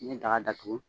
N'i ye daga datugu